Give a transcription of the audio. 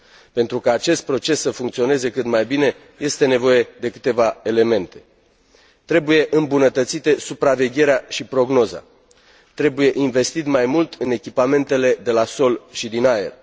Pentru ca acest proces să funcționeze cât mai bine, este nevoie de câteva elemente trebuie îmbunătățite supravegherea și prognoza, trebuie investit mai mult în echipamentele de la sol și din aer.